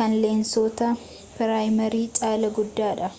kan leensoota piraayimii caalaa guddaadha